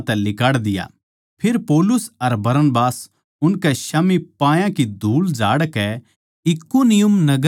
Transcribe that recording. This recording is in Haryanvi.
फेर पौलुस अर बरनबास उनकै स्याम्ही पायां की धूळ झाड़कै इकुनियुम नगर म्ह चले गये